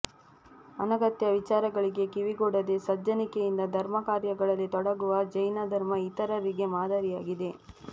ಅನಗತ್ಯ ವಿಚಾರಗಳಿಗೆ ಕಿವಿಗೊಡದೇ ಸಜ್ಜನಿಕೆಯಿಂದ ಧರ್ಮ ಕಾರ್ಯಗಳಲ್ಲಿ ತೊಡಗುವ ಜೈನ ಧರ್ಮ ಇತರರಿಗೆ ಮಾದರಿಯಾಗಿದೆ